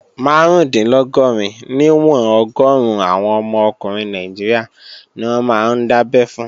Márùndínlọ́gọ́rin níwọ̀n ọgọ́run àwọn ọmọ ọkùnrin Nàìjíríà ni wọ́n máa ń dábẹ́ fún